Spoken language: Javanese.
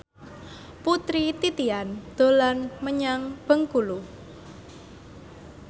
Putri Titian dolan menyang Bengkulu